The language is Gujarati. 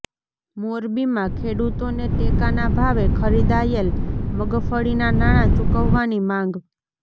મોરબીમાં ખેડૂતોને ટેકાના ભાવે ખરીદાયેલ મગફળીના નાણા ચુકવવાની માંગ